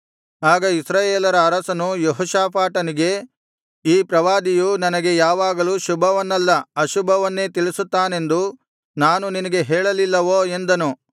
ಆಗ ಇಸ್ರಾಯೇಲರ ಅರಸನು ಯೆಹೋಷಾಫಾಟನಿಗೆ ಈ ಪ್ರವಾದಿಯು ನನಗೆ ಯಾವಾಗಲೂ ಶುಭವನ್ನಲ್ಲ ಅಶುಭವನ್ನೇ ತಿಳಿಸುತ್ತಾನೆಂದು ನಾನು ನಿನಗೆ ಹೇಳಲಿಲ್ಲವೋ ಎಂದನು